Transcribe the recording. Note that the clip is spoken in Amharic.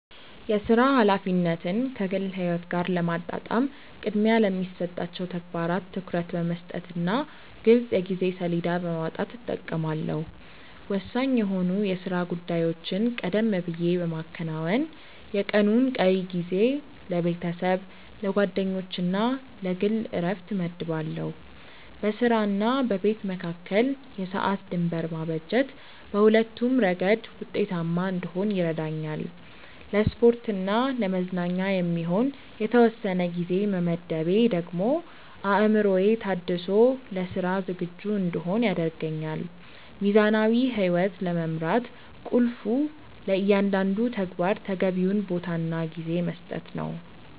የሥራ ኃላፊነትን ከግል ሕይወት ጋር ለማጣጣም ቅድሚያ ለሚሰጣቸው ተግባራት ትኩረት በመስጠትና ግልጽ የጊዜ ሰሌዳ በማውጣት እጠቀማለሁ። ወሳኝ የሆኑ የሥራ ጉዳዮችን ቀደም ብዬ በማከናወን፣ የቀኑን ቀሪ ጊዜ ለቤተሰብ፣ ለጓደኞችና ለግል ዕረፍት እመድባለሁ። በሥራና በቤት መካከል የሰዓት ድንበር ማበጀት በሁለቱም ረገድ ውጤታማ እንድሆን ይረዳኛል። ለስፖርትና ለመዝናኛ የሚሆን የተወሰነ ጊዜ መመደቤ ደግሞ አእምሮዬ ታድሶ ለሥራ ዝግጁ እንድሆን ያደርገኛል። ሚዛናዊ ሕይወት ለመምራት ቁልፉ ለእያንዳንዱ ተግባር ተገቢውን ቦታና ጊዜ መስጠት ነው።